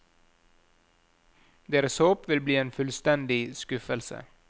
Deres håp vil bli en fullstendig skuffelse.